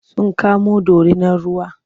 Sun kamo dorinar ruwa.